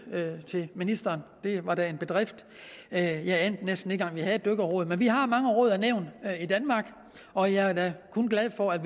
til ministeren det var da en bedrift jeg jeg anede næsten ikke engang at vi havde et dykkerråd men vi har mange råd og nævn i danmark og jeg er da kun glad for at